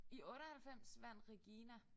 I 98 vandt Regina